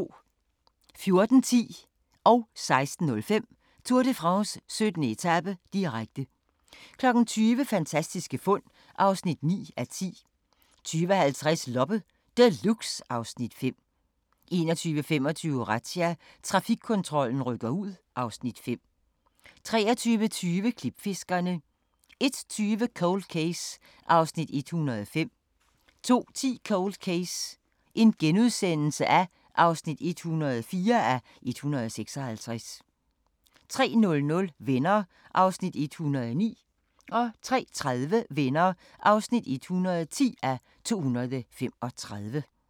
14:10: Tour de France: 17. etape, direkte 16:05: Tour de France: 17. etape, direkte 20:00: Fantastiske fund (9:10) 20:50: Loppe Deluxe (Afs. 5) 21:25: Razzia – Trafikkontrollen rykker ud (Afs. 5) 23:20: Klipfiskerne 01:20: Cold Case (105:156) 02:10: Cold Case (104:156)* 03:00: Venner (109:235) 03:30: Venner (110:235)